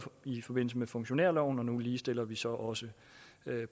i forbindelse med funktionærloven og nu ligestiller vi så også